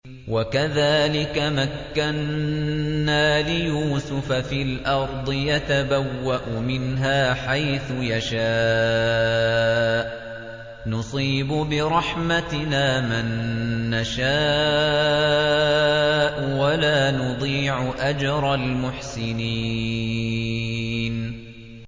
وَكَذَٰلِكَ مَكَّنَّا لِيُوسُفَ فِي الْأَرْضِ يَتَبَوَّأُ مِنْهَا حَيْثُ يَشَاءُ ۚ نُصِيبُ بِرَحْمَتِنَا مَن نَّشَاءُ ۖ وَلَا نُضِيعُ أَجْرَ الْمُحْسِنِينَ